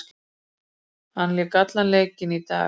Hann lék allan leikinn í dag.